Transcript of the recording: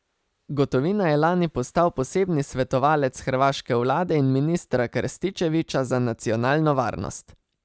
Gotovina je lani postal posebni svetovalec hrvaške vlade in ministra Krstičevića za nacionalno varnost.